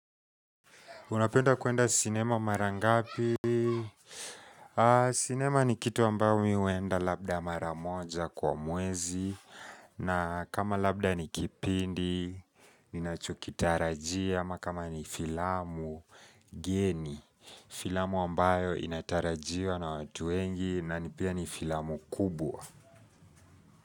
Unapenda kuenda sinema mara ngapi? Sinema ni kitu ambayo mimi huenda labda mara moja kwa mwezi na kama labda ni kipindi, ninacho kitarajia ama kama ni filamu geni Filamu ambayo inatarajiwa na watu wengi na pia ni filamu kubwa.